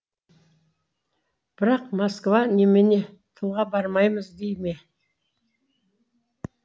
бірақ москва немене тылға бармаймыз дей ме